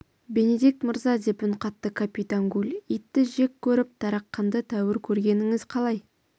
бенедикт мырза деп үн қатты капитан гульитті жек көріп тарақанды тәуір көргеніңіз қалай